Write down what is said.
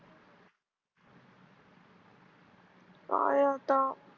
काय आता?